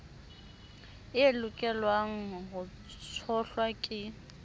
e lokelwang ho tshohlwa ke